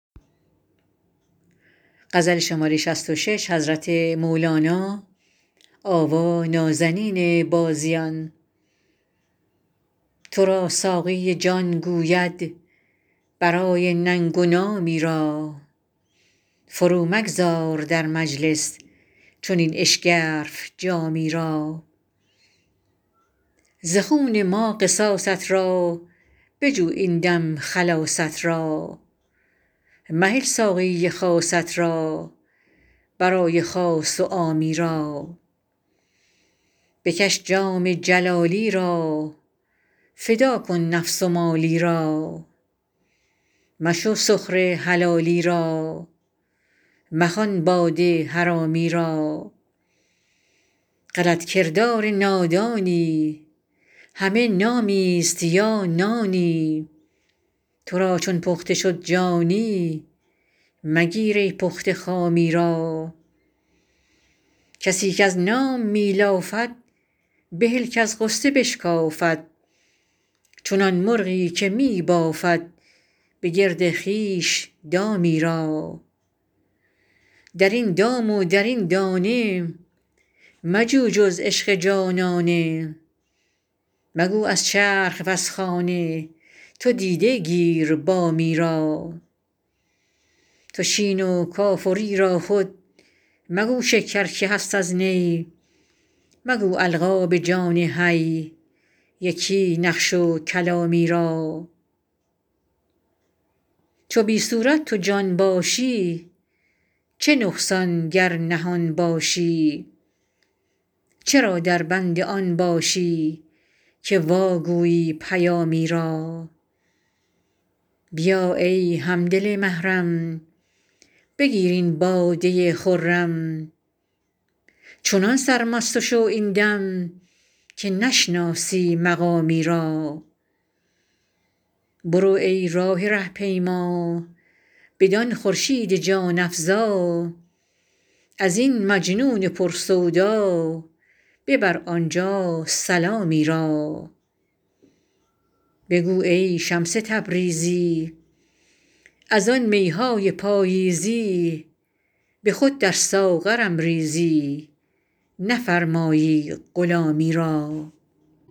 تو را ساقی جان گوید برای ننگ و نامی را فرومگذار در مجلس چنین اشگرف جامی را ز خون ما قصاصت را بجو این دم خلاصت را مهل ساقی خاصت را برای خاص و عامی را بکش جام جلالی را فدا کن نفس و مالی را مشو سخره حلالی را مخوان باده حرامی را غلط کردار نادانی همه نامیست یا نانی تو را چون پخته شد جانی مگیر ای پخته خامی را کسی کز نام می لافد بهل کز غصه بشکافد چو آن مرغی که می بافد به گرد خویش دامی را در این دام و در این دانه مجو جز عشق جانانه مگو از چرخ وز خانه تو دیده گیر بامی را تو شین و کاف و ری را خود مگو شکر که هست از نی مگو القاب جان حی یکی نقش و کلامی را چو بی صورت تو جان باشی چه نقصان گر نهان باشی چرا دربند آن باشی که واگویی پیامی را بیا ای هم دل محرم بگیر این باده خرم چنان سرمست شو این دم که نشناسی مقامی را برو ای راه ره پیما بدان خورشید جان افزا از این مجنون پر سودا ببر آنجا سلامی را بگو ای شمس تبریزی از آن می های پاییزی به خود در ساغرم ریزی نفرمایی غلامی را